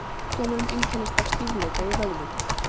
sjúkdómurinn einkennist af stífleika í vöðvum